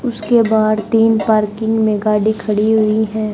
उसके बाहर तीन पार्किंग में गाड़ी खड़ी हुई है।